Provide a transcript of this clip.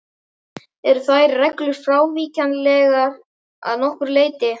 Eru þær reglur frávíkjanlegar að nokkru leyti.